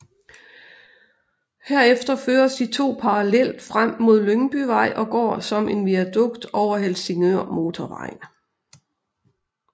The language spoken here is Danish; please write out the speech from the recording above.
Herefter føres de to parallelt frem mod Lyngbyvej og går som en viadukt over Helsingørmotorvejen